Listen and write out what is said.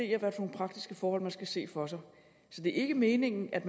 praktiske forhold man skal se for sig det er ikke meningen at